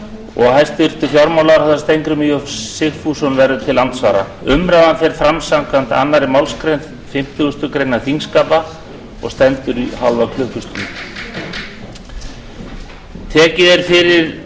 og hæstvirtur fjármálaráðherra steingrímur j sigfússon verður til andsvara umræðan fer fram samkvæmt annarri málsgrein fimmtugustu grein þingskapa og stendur í hálfa klukkustund